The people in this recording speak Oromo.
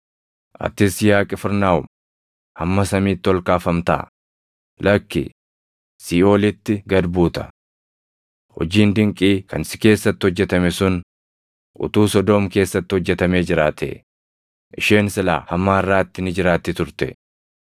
Atis yaa Qifirnaahom, hamma samiitti ol kaafamtaa? Lakki, siiʼoolitti gad buuta. Hojiin dinqii kan si keessatti hojjetame sun utuu Sodoom keessatti hojjetamee jiraatee, isheen silaa hamma harʼaatti ni jiraatti turte.